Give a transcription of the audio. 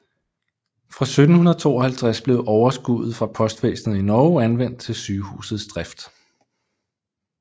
Fra 1752 blev overskuddet fra postvæsenet i Norge anvendt til sygehusets drift